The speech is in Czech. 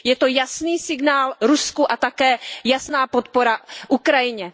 Je to jasný signál Rusku a také jasná podpora Ukrajině.